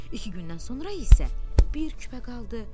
İki gündən sonra isə bir küpə qaldı.